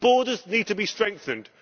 Borders need to be strengthened.